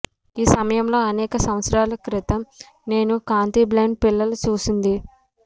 ఈ సమయంలో అనేక సంవత్సరాల క్రితం నేను కాంతి బ్లైండ్ పిల్లల చూసింది